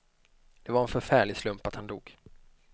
Det var en förfärlig slump att han dog.